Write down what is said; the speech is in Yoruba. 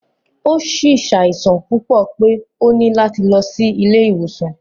O si ṣaisan pupọ pe o ni lati lọ si ile-iwosan.